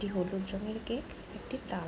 একটি হলুদ রং এর গেট একটি তার।